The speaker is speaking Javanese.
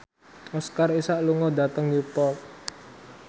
Oscar Isaac lunga dhateng Newport